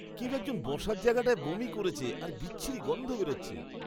কেউ একজন বসার জায়গাটায় বমি করেছে আর বিচ্ছিরী গন্ধ বেরোচ্ছে।